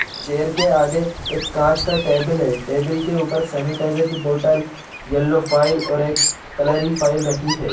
Chair के आगे एक कांच का टेबल है टेबिल के ऊपर सैनिटाइजर की बोटल यल्लो फाइल और एक कलरी की फाइल रखी है।